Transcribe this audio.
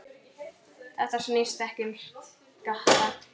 Þetta snýst ekki um skatta.